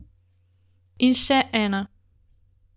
In še ena.